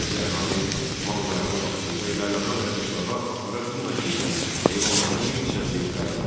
Yerli əhali malqaranı vaxtında yaylağa və qışlağa apara bilmədiyindən heyvanların bir hissəsi tələf olur.